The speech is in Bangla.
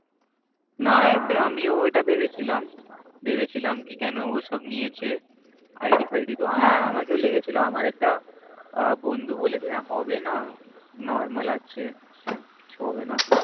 না না আমিও ওটা ভেবেছিলাম ভেবেছিলাম কেন ওসব নিয়েছে ID হ্য়াঁ আমাকেও লেগে ছিল আমার একটা বন্ধু বলেছিল হবে না Normal আছে কিছু হবে না